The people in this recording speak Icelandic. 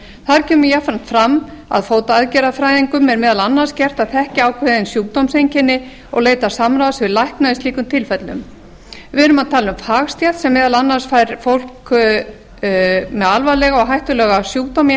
þar kemur jafnframt fram að fótaaðgerðafræðingum er meðal annars gert að þekkja ákveðin sjúkdómseinkenni og leita samráðs við lækna í slíkum tilfellum við erum að tala um fagstétt sem meðal annars fær fólk með alvarlega og hættulega sjúkdóma í